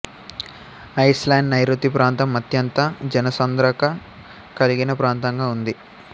Iceland నైరుతి ప్రాంతం అత్యంత జనసాంద్రత కలిగిన ప్రాంతంగా ఉంది